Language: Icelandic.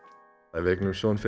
við eignuðumst son fyrir